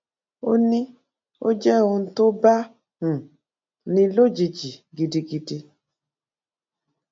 ó ní ó jẹ ohun tó bá um ní lójijì gidigidi